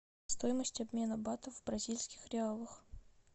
стоимость обмена бата в бразильских реалах